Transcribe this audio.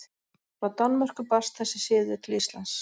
Frá Danmörku barst þessi siður til Íslands.